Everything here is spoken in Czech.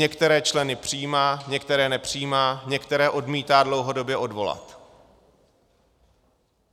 Některé členy přijímá, některé nepřijímá, některé odmítá dlouhodobě odvolat.